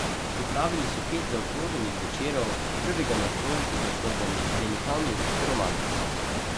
Pripravili so pet zaokroženih večerov, prvega nocoj pod naslovom Velikani ruske romantike.